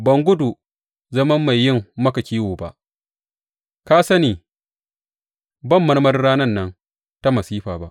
Ban gudu zaman mai yin maka kiwo ba; ka sani ban marmarin ranan nan ta masifa ba.